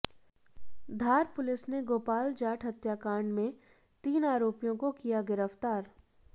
धार police ने गोपाल जाट हत्याकांड में तीन आरोपियों को किया गिरफ्तार